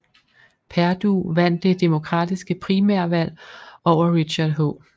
Perdue vandt det demokratiske primærvalg over Richard H